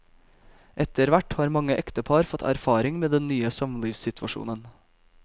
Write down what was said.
Etterhvert har mange ektepar fått erfaring med den nye samlivssituasjonen.